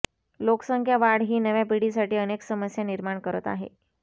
लोकसंख्या वाढ ही नव्या पिढीसाठी अनेक समस्या निर्माण करत आहे